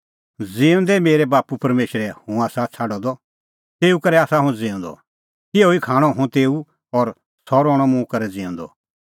ज़िहअ ज़िऊंदै मेरै बाप्पू परमेशरै हुंह आसा छ़ाडअ द तेऊए करै आसा हुंह ज़िऊंदअ तिहअ ई खाणअ हुंह तेऊ और सह रहणअ मुंह करै ज़िऊंदअ